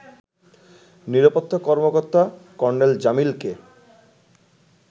নিরাপত্তা কর্মকর্তা কর্নেল জামিলকে